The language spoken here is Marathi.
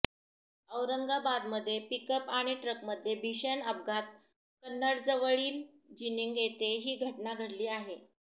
औरंगाबादमध्ये पिकअप आणि ट्रकमध्ये भीषण अपघात कन्नडजवळील जिनिंग येथे ही घटना घडली आहे